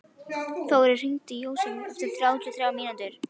Þórir, hringdu í Jósefus eftir þrjátíu og þrjár mínútur.